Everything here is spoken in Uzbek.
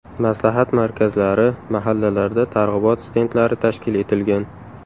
Maslahat markazlari, mahallalarda targ‘ibot stendlari tashkil etilgan.